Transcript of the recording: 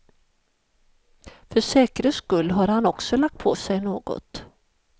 För säkerhets skull har han också lagt på sig något.